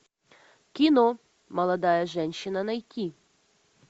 кино молодая женщина найти